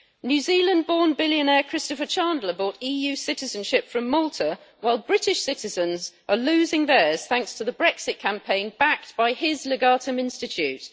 New Zealand born billionaire Christopher Chandler bought EU citizenship from Malta, while British citizens are losing theirs thanks to the Brexit campaign backed by his Legatum Institute.